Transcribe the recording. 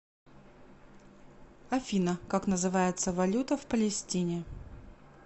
афина как называется валюта в палестине